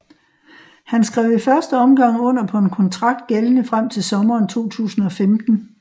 Han skrev i første omgang under på en kontrakt gældende frem til sommeren 2015